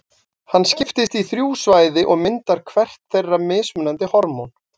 Hann skiptist í þrjú svæði og myndar hvert þeirra mismunandi hormón.